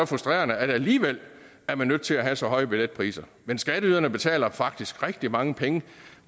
frustrerende at man alligevel er nødt til at have så høje billetpriser men skatteyderne betaler faktisk rigtig mange penge